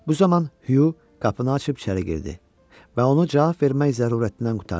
Bu zaman Hugh qapını açıb içəri girdi və onu cavab vermək zərurətindən qurtardı.